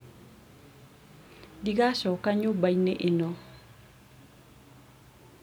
ndigacoka nyũmba-inĩ ĩno